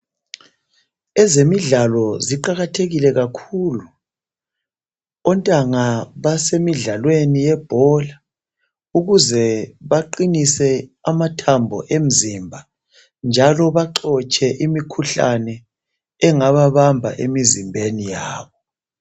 Ezemidlalo ziqakathekile kakhulu ontanga basemidlalweni yebhola ukuze baqinise amathambo emzimba njalo baxotshe imikhuhlane engababamba emizimbeni yabo